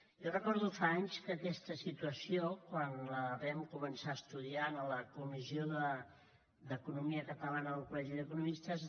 jo recordo fa anys que aquesta situació quan la vam començar a estudiar en la comissió d’economia catalana del col·legi d’economistes